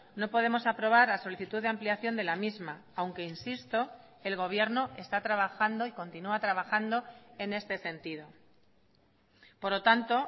no podemos aprobar la solicitud de ampliación de la misma aunque insisto el gobierno está trabajando y continúa trabajando en este sentido por lo tanto